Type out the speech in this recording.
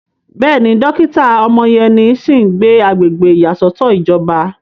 Bẹ́ẹ̀ni, dókítà Omoyeni sì ń gbé agbègbè ìyàsọ́tọ̀ ìjọba.